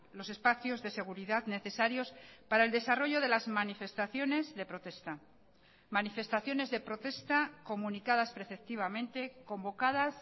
los espacios de seguridad necesarios para el desarrollo de las manifestaciones de protesta manifestaciones de protesta comunicadas preceptivamente convocadas